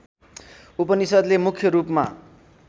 उपनिषद्ले मुख्य रूपमा